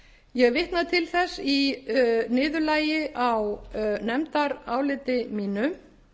ég vitnaði til þess í niðurlagi á nefndaráliti mínu